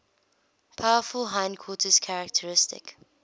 powerful hindquarters characteristic